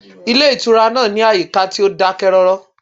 Ilé ìtura náà ní àyíká tí ó dákẹ́rọ́rọ́